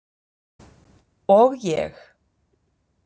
Og ég.